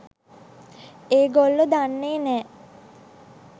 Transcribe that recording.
ඒගොල්ලො දන්නේ නෑ